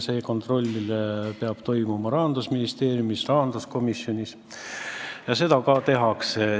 See kontroll peab toimuma Rahandusministeeriumis ja rahanduskomisjonis ning seda ka tehakse.